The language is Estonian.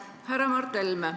Härra Mart Helme!